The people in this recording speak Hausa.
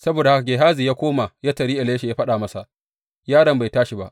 Saboda haka Gehazi ya koma ya taryi Elisha, ya faɗa masa, Yaron bai tashi ba.